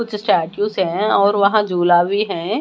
कुछ स्टेच्यू हैं और वहां झूला भी हैं।